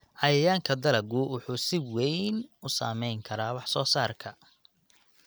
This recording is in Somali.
Cayayaanka dalaggu wuxuu si weyn u saameyn karaa wax-soo-saarka.